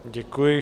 Děkuji.